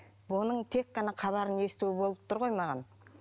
бұның тек қана хабарын есту болып тұр ғой маған